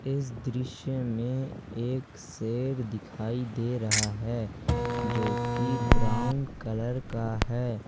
इस दृश्य में एक सेर दिखाई दे रहा है जो कि ब्राउन कलर का है।